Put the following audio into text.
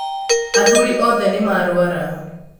Athuri othe nĩmarwara